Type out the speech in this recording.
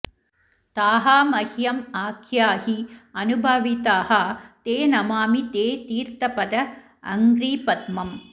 ताः मह्यम् आख्याहि अनुभाविताः ते नमामि ते तीर्थ पद अङ्घ्रिपद्मम्